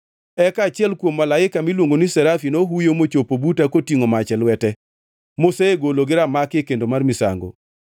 Eka achiel kuom malaike miluongo ni serafi nohuyo mochopo buta kotingʼo mach e lwete, mosegolo gi ramaki e kendo mar misango.